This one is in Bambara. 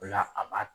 O la a b'a